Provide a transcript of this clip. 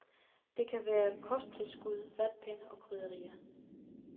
Det kan være kosttilskud, vatpinde og krydderier.